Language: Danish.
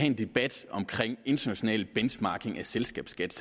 en debat om international benchmarking af selskabsskat